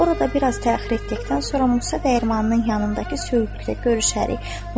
Orada biraz təxir etdikdən sonra Musa Dəyirmanının yanındakı söyüddə görüşərik.